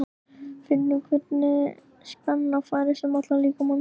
Finnur hvernig spenna færist um allan líkamann.